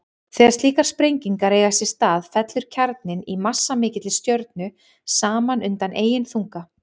Þegar slíkar sprengingar eiga sér stað fellur kjarninn í massamikilli stjörnu saman undan eigin þunga.